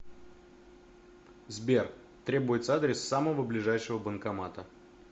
сбер требуется адрес самого ближайшего банкомата